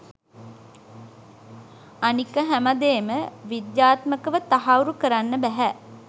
අනික හැමදේම විද්‍යාත්මකව තහවුරු කරන්න බැහැ.